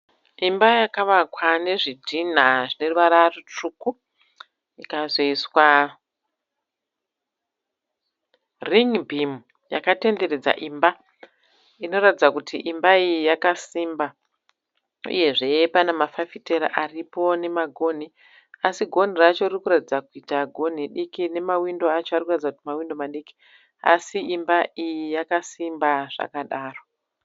Imba yakavakwa nezvitinda zvine ruvara rutsvuku ikazoiswa ringibhimu yakatenderedza imba inoratidza kuti imba iyi yakasimba uyezve pane mafafitera aripo nemagonhi. Asi gonhi racho riri kuratidza kuita gonhi diki nemawindo acho ari kuratidza kuita mawindo madiki. Asi imba iyi yakasimba zvakadaro.